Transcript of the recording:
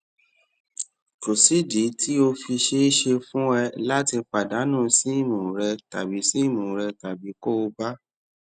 kò sídìí tó fi ṣeé ṣe fún ẹ láti pàdánù sim rẹ tàbí sim rẹ tàbí kó o bà